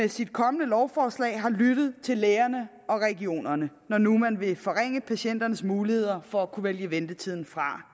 i sit kommende lovforslag har lyttet til lægerne og regionerne når nu man vil forringe patienternes muligheder for at kunne vælge ventetiden fra